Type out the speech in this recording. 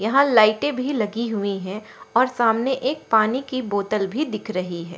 यहां लाइटे भी लगी हुई है और सामने एक पानी की बोतल भी दिख रही है।